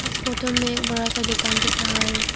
इस फोटो में एक बड़ा सा दुकान दिख रहा है।